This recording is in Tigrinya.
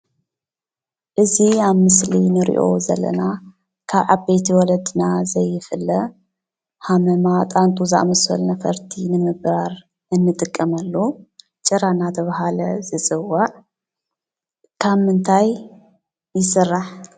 እዚ አብ ምስሊ እንሪኦ ዘለና ካብ ዓበይቲ ወለድና ዘይፍለ ሃመማ፣ ጣንጡ ዝአመሰሉ ነፈርቲ ንምብራር እንጥቀመሉ ጭራ እናተብሃለ ዝፅዋዕ ካብ ምንታይ ይስራሕ?